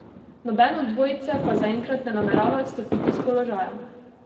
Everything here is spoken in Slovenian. Noben od dvojice pa zaenkrat ne namerava odstopiti s položaja.